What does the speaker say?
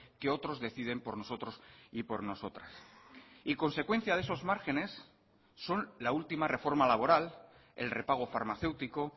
que otros deciden por nosotros y por nosotras y consecuencia de esos márgenes son la última reforma laboral el repago farmacéutico